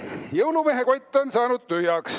Jõulumehe kott on tühjaks saanud.